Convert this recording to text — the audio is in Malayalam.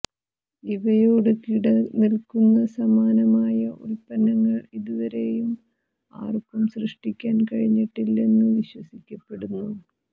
ഇവയോടു കിടനിൽക്കുന്ന സമാനമായ ഉൽപ്പങ്ങൾ ഇതുവരേയും ആർക്കും സൃഷ്ടിക്കാൻ കഴിഞ്ഞിട്ടില്ലെന്നു വിശ്വസിക്കപ്പെടുന്നു